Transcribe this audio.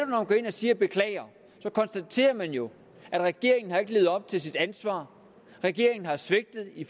man går ind og siger beklager konstaterer man jo at regeringen ikke har levet op til sit ansvar at regeringen har svigtet i